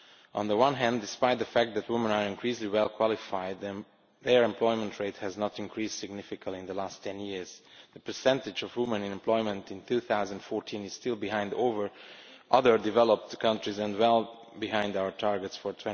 On the one hand, despite the fact that women are increasingly well qualified, their employment rate has not increased significantly in the last 10 years The percentage of women in employment in 2014 is still behind other developed countries and well behind our targets for